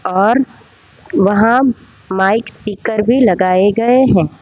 और वहां mic speaker भी लगाए गए हैं।